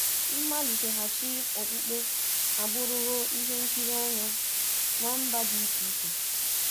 Mmalitaghachi okpukpe abụrụwo ihe nkiri anya ná mba dị iche-iche.